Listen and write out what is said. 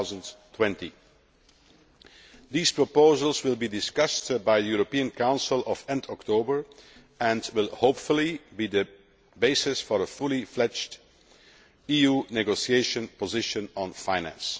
2020. These proposals will be discussed by the European Council at the end of October and will hopefully be the basis for a fully fledged EU negotiation position on finance.